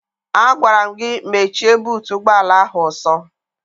Agwara m gị mechie buutu ụgbọala ahụ ọsọ!